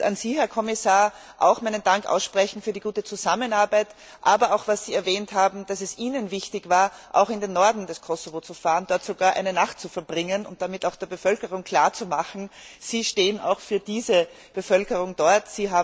Ihnen, Herr Kommissar, möchte ich auch meinen Dank aussprechen für die gute Zusammenarbeit, aber auch für das, was Sie erwähnt haben, dass es Ihnen wichtig war, auch in den Norden Kosovos zu fahren, dort sogar eine Nacht zu verbringen und damit auch der Bevölkerung klarzumachen Sie stehen auch für diese Bevölkerung dort.